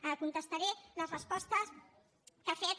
ara contestaré les respostes que ha fet